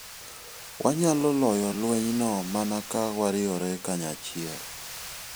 Wanyalo loyo lwenyno mana ka wariwore kanyachiel.